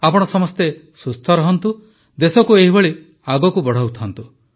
ଆପଣ ସମସ୍ତେ ସୁସ୍ଥ ରହନ୍ତୁ ଦେଶକୁ ଏହିଭଳି ଆଗକୁ ବଢ଼ାଉଥାନ୍ତୁ